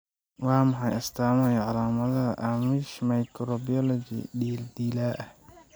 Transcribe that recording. Waa maxay astamaha iyo calaamadaha Amish microcephaly dilaa ah?